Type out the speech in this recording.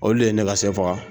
Olu de ye ne ka sɛ faga